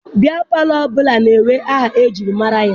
Biya palọ ọbụla na-enwe aha ejiri mara ya.